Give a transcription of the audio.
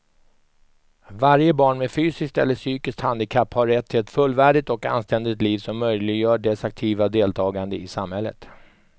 Varje barn med fysiskt eller psykiskt handikapp har rätt till ett fullvärdigt och anständigt liv som möjliggör dess aktiva deltagande i samhället.